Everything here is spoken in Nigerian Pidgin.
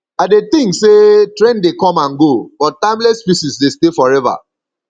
i dey think say trend dey come and go but timeless pieces dey stay forever